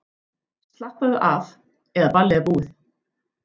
Slappaðu af, eða ballið er búið.